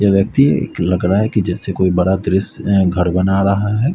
यह व्यक्ति लग रहा है कि जैसे कोई बड़ा त्रिस अ घर बना रहा है।